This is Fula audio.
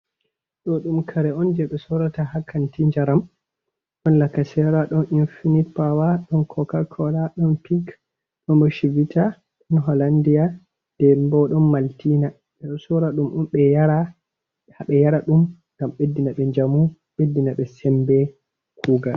Ɗoɗuum kare on je be sorata ha kanti njaram. Ɗon. lakasera, ɗon infinit pawa, don koka kola, ɗon pik, ɗon bo shivitta, ɗon holandia, ɗembo ɗon maltina. Be sora ɗum om be yara. Haɓe yara ɗum ngam beɗɗina ɓe jamu, bɗɗinaɓe sembe kugal.